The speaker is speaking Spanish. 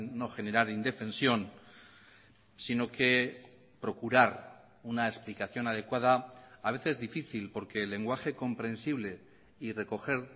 no generar indefensión sino que procurar una explicación adecuada a veces difícil porque el lenguaje comprensible y recoger